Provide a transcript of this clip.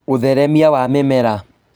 ũtheremia wa mĩmera